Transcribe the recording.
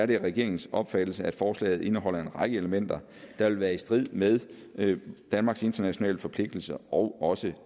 det regeringens opfattelse at forslaget indeholder en række elementer der vil være i strid med danmarks internationale forpligtelser og også